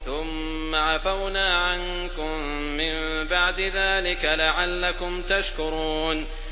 ثُمَّ عَفَوْنَا عَنكُم مِّن بَعْدِ ذَٰلِكَ لَعَلَّكُمْ تَشْكُرُونَ